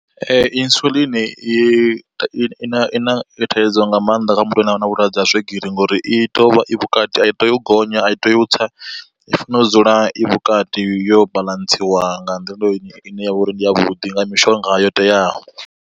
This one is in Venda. Insulin i na i na thaidzo nga maanḓa kha muthu ane avha na vhulwadze ha swigiri ngori i tea uvha i vhukati a i tei u gonya a i tei u tsa i fanela u dzula i vhukati yo baḽantsiwa nga nḓila ine yavha uri ndi ya vhuḓi nga mishonga yo teaho.